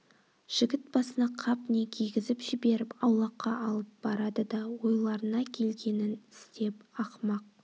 жігіт басына қап не кигізіп жіберіп аулаққа алып барады да ойларына келгенін істеп ақымақ